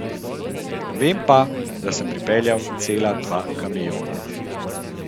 Vem pa, da sem pripeljal cela dva kamiona.